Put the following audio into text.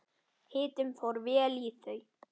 Hitinn fór vel í þau.